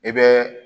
I bɛ